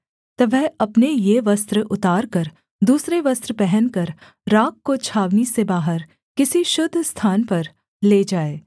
तब वह अपने ये वस्त्र उतारकर दूसरे वस्त्र पहनकर राख को छावनी से बाहर किसी शुद्ध स्थान पर ले जाए